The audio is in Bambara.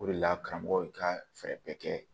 O de la karamɔgɔ ye ka fɛɛrɛ bɛɛ kɛ